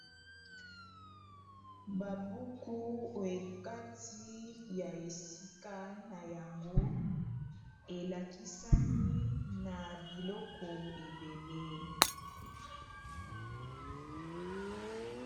Ba buku oekati ya esika na yango elakisami na biloko ebele.